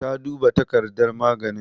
Ta duba takardar maganin?